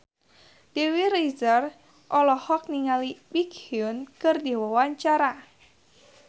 Dewi Rezer olohok ningali Baekhyun keur diwawancara